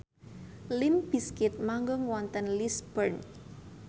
limp bizkit manggung wonten Lisburn